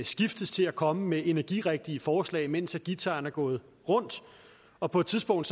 skiftedes til at komme med energirigtige forslag mens guitaren er gået rundt og på et tidspunkt